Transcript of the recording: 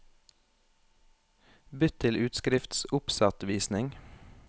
Bytt til utskriftsoppsettvisning